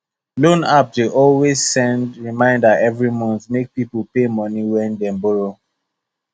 loan app dey always send reminder every month make people pay money wey them borrow